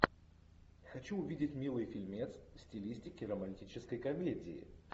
хочу увидеть милый фильмец в стилистике романтической комедии